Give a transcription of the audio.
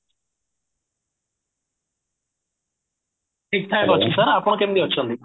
ଠିକ ଠାକ ଅଛି sir ଆପଣ କେମତି ଅଛନ୍ତି